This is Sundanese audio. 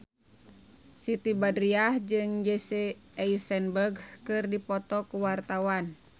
Siti Badriah jeung Jesse Eisenberg keur dipoto ku wartawan